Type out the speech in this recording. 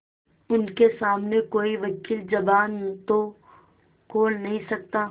उनके सामने कोई वकील जबान तो खोल नहीं सकता